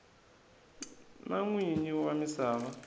na n winyi wa misava